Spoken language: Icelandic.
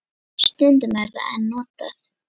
Stundum er það enn notað.